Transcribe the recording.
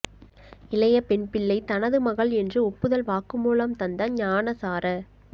இளைய பெண்பிள்ளை தனது மகள் என்று ஒப்புதல் வாக்கு மூலம் தந்த ஞானசார